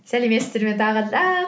сәлеметсіздер ме тағы да